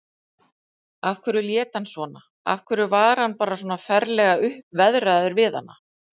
Af hverju lét hann svona, af hverju var hann svona ferlega uppveðraður við hana?